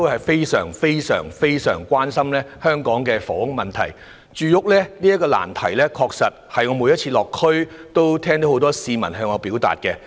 他們都非常關心香港的房屋問題，而我每次落區也聽到很多市民向我表達住屋的困難。